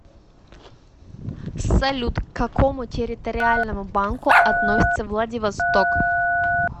салют к какому территориальному банку относится владивосток